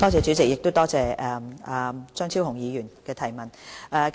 主席，多謝張超雄議員提出的補充質詢。